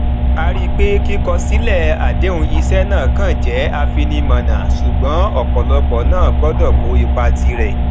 a rí i pé kíkọ silẹ adehun iṣé náà kàn jé afinimònà ṣùgbón òpòlópò náà gbọdò kó ipa tirè